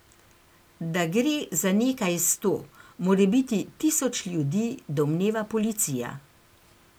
Da gre za nekaj sto, morebiti tisoč ljudi, domneva policija.